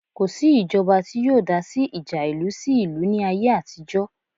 Kò sí ìjọba tí yóò dásí ìjà ìlú sí ìlú ní ayé àtijọ́